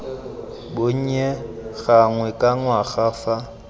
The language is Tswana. bonnye gangwe ka ngwaga fa